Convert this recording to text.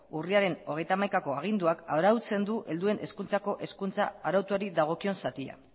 urriaren hogeita hamaikako aginduak arautzen du helduen hezkuntzako hezkuntza arautuari dagokion zatia